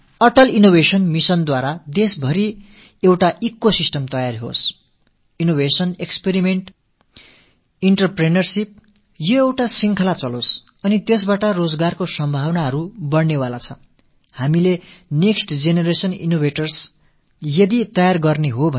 இந்த Atal innovation mission வாயிலாக நாடு முழுவதிலும் இன்னோவேஷன் எக்ஸ்பெரிமெண்ட் என்டர்பிரினியர்ஷிப் அதாவது புதுமைகள் பரிசோதனைகள் தொழில்முனைவு ஆகியவை நிரம்பிய ஒரு சூழல் உருவாக்க வேண்டும் என்ற எண்ணம் இருக்கிறது இந்த செயல்பாடு தொடர்ந்து நடைபெற்றால் நாட்டில் புதிய வேலைவாய்ப்புக்கள் ஏற்படுவதற்கான சாத்தியக்கூறுகள் அதிகரிக்கும்